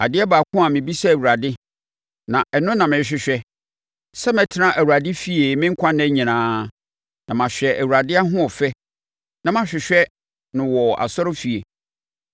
Adeɛ baako na mebisa Awurade; na ɛno na mehwehwɛ; sɛ mɛtena Awurade fie me nkwa nna nyinaa, na mahwɛ Awurade ahoɔfɛ na mahwehwɛ no wɔ nʼasɔrefie.